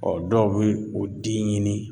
dɔw be o den ɲini